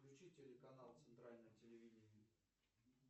включи телеканал центральное телевидение